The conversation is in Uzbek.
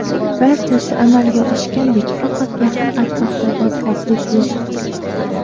Barchasi amalga oshgandek, faqat yaqin atrofda botqoqlik yo‘q.